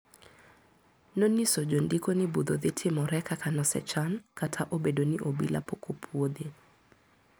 Noniso jondiko ni budho dhitimore kaka nosechan kata obedo ni obila pok opuodhe.